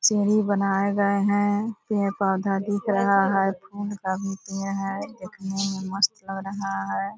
सीढ़ी बनाए गये है। पेड़ पौधा दिख रहा है देखने मे मस्त लग रहा है।